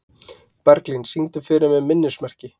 Berglín, syngdu fyrir mig „Minnismerki“.